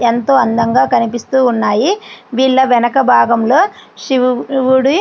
ఎంతో అందంగా కనిపిస్తూ ఉన్నాయి. వీళ్ళ వెనకాల భాగంలో శివుడి విగ్రహం కనిపిస్తుంది.